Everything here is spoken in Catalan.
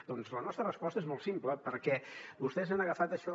doncs la nostra resposta és molt simple perquè vostès han agafat això